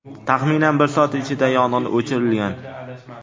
Taxminan bir soat ichida yong‘in o‘chirilgan.